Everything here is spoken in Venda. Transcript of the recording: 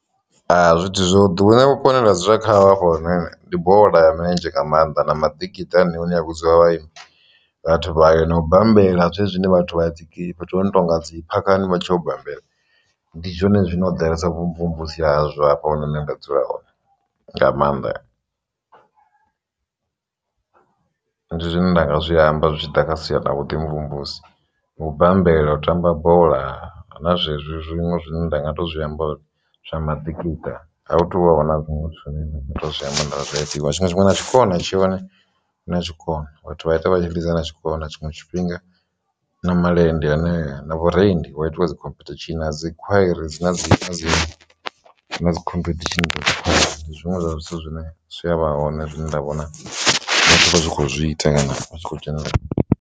Zwithu zwo ḓoweleaho vhuponi hanga ndi bola ya milenzhe nga maanḓa na maḓikiṱa vhudziwa vhathu vhayo na u bambela ndi zwone zwine vhathu vha dzi fhethu ho no tonga dzi phakhani. Ndi zwone zwine ho ḓalesa vhumvumvusi hazwo hafha hune nṋe nda dzula hone nga mannḓa ndi zwine nda nga zwi amba zwi tshi ḓa kha sia ḽa vhuḓi mvumvusa zwa u bambela. U tamba bola na zwezwi zwiṅwe zwine nda nga tou zwi amba zwa maḓikiṱa a hu tu vha na zwiṅwe zwine zwithu zwine nda nga to zwi amba uri zwi a ḓivhiwa. Tshiṅwe tshifhinga tshikona na tshikona tshiṅwe tshifhinga na malende anea na vhurendi hu ya itiwa dzi khomphethishini na dzi khwairi hu na dzi khomphethishini dza dzi khwairi na zwithu zwine sialala ḽa vha hone ra vhonala ri kho zwi ita kana u tshi kho dzhenelela.